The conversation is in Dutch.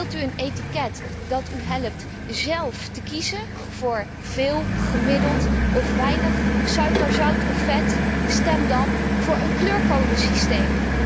Wilt u een etiket dat u helpt zelf te kiezen voor veel, gemiddeld of weinig suiker, zout of vet, stem dan voor een kleurcodesysteem.